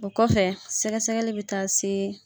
O kɔfɛ sɛgɛ sɛgɛli bɛ taa se